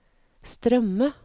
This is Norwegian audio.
strømme